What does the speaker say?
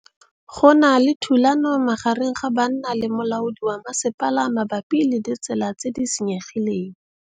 Go na le thulanô magareng ga banna le molaodi wa masepala mabapi le ditsela tse di senyegileng.